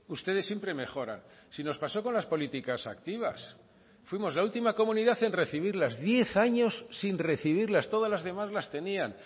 ustedes siempre mejoran si nos pasó con las políticas activas fuimos la última comunidad en recibirlas diez años sin recibirlas todas las demás las tenían